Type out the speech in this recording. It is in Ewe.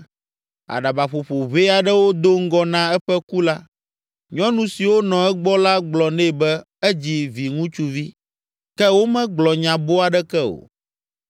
Aɖabaƒoƒo ʋɛ aɖewo do ŋgɔ na eƒe ku la, nyɔnu siwo nɔ egbɔ la gblɔ nɛ be edzi viŋutsuvi, ke womegblɔ nya boo aɖeke o.